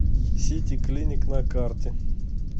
сити клиник на карте